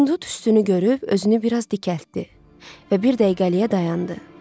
Hindu tüstünü görüb özünü biraz dikəltdi və bir dəqiqəliyə dayandı.